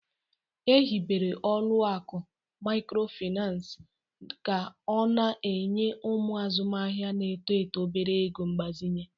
Ehibere ọlụakụ mikrofinansi ka ọ na-enye ụmụ azụmahia n'eto eto obere ego mgbazinye.